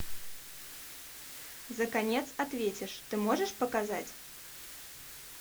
за конец ответишь ты можешь показать